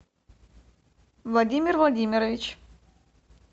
владимир владимирович